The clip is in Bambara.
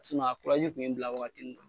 a kun ye n bila waatinin.